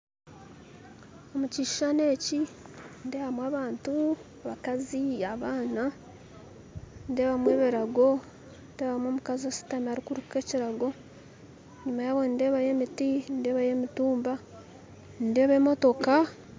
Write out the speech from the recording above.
Omu kishushani eki nindebamu abantu abakazi abaana nindebamu ebirago nindebamu omukazi ashutami arukuruka ekirago enyuma yabo nindebayo emiti nindebayo emitumba nindeeba emotoka.